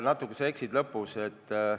Natuke sa eksisid.